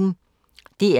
DR P1